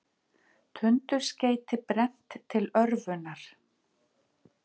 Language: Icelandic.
Tundurskeyti brennt til örvunar